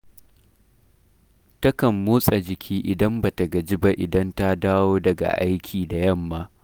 Takan motsa jiki idan ba ta gaji ba idan ta dawo daga aiki da yamma